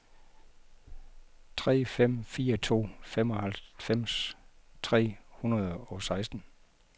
tre fem fire to femoghalvfems tre hundrede og seksten